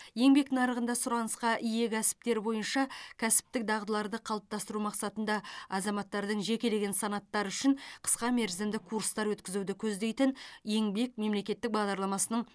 еңбек нарығында сұранысқа ие кәсіптер бойынша кәсіптік дағдыларды қалыптастыру мақсатында азаматтардың жекелеген санаттары үшін қысқамерзімді курстар өткізуді көздейтін еңбек мемлекеттік бағдарламасының